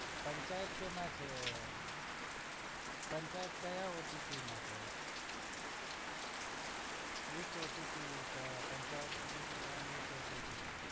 પંચાયત કેમાં છે પંચાયત કયા OTT માં છ which OTT આહ Panchayat is on which OTT